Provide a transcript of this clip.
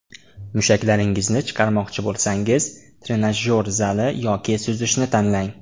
Mushaklaringizni chiqarmoqchi bo‘lsangiz trenajyor zali yoki suzishni tanlang.